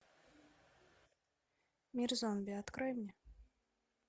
мир зомби открой мне